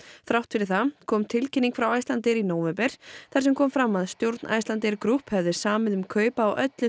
þrátt fyrir það kom tilkynning frá Icelandair í nóvember þar sem kom fram að stjórn Icelandair Group hefði samið um kaup á öllu